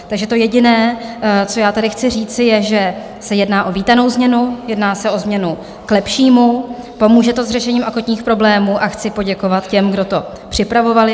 Takže to jediné, co já tady chci říci, je, že se jedná o vítanou změnu, jedná se o změnu k lepšímu, pomůže to s řešením akutních problémů, a chci poděkovat těm, kdo to připravovali.